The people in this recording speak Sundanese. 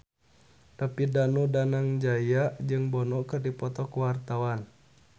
David Danu Danangjaya jeung Bono keur dipoto ku wartawan